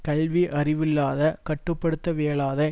கல்வி அறிவில்லாத கட்டுப்படுத்தவியலாத